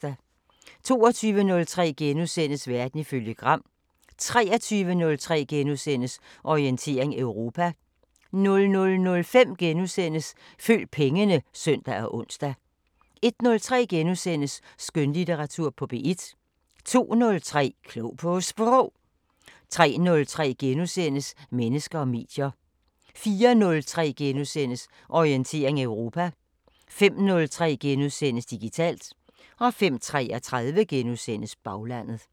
22:03: Verden ifølge Gram * 23:03: Orientering Europa * 00:05: Følg pengene *(søn og ons) 01:03: Skønlitteratur på P1 * 02:03: Klog på Sprog 03:03: Mennesker og medier * 04:03: Orientering Europa * 05:03: Digitalt * 05:33: Baglandet *